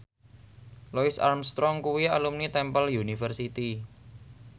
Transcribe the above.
Louis Armstrong kuwi alumni Temple University